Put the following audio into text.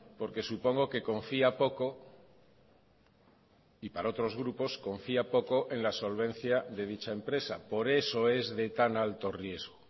porque supongo que confía poco y para otros grupos confía poco en la solvencia de dicha empresa por eso es de tan alto riesgo